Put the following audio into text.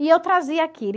E eu trazia aquilo.